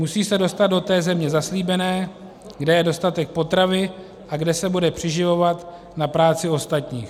Musí se dostat do té země zaslíbené, kde je dostatek potravy a kde se bude přiživovat na práci ostatních.